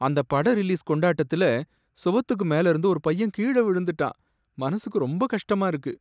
அந்த பட ரிலீஸ் கொண்டாட்டத்துல சுவத்துக்கு மேல இருந்து ஒரு பையன் கீழ விழுந்துட்டான். மனசுக்கு ரொம்ப கஷ்டமா இருக்கு.